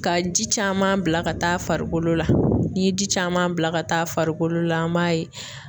Ka ji caman bila ka taa farikolo la n'i ye ji caman bila ka taa farikolo la an b'a ye